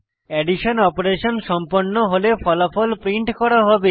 addition operation সম্পন্ন হলে ফলাফল প্রিন্ট করা হবে